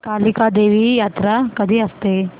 कालिका देवी यात्रा कधी असते